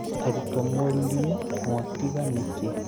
Arutwo moririe ," mwatiga nĩkĩĩ?"